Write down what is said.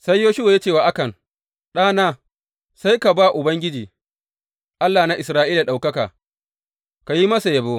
Sai Yoshuwa ya ce wa Akan, Ɗana, sai ka ba Ubangiji, Allah na Isra’ila ɗaukaka, ka yi masa yabo.